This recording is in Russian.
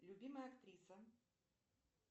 любимая актриса